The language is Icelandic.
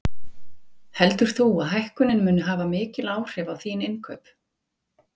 Heldur þú að hækkunin muni hafa mikil áhrif á þín innkaup?